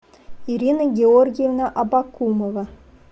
ирина георгиевна абакумова